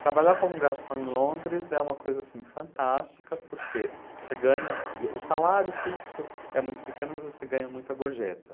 Trabalhar como garçom em Londres é uma coisa assim, fantástica porque você ganha, o salário fixo é muito pequeno, mas você ganha muita gorjeta.